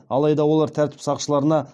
алайда олар тәртіп сақшыларына